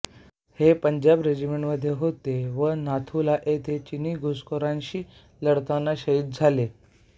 हे पंजाब रेजिमेंटमध्ये होते व नाथू ला येथे चिनी घुसखोरांशी लढताना शहीद झाले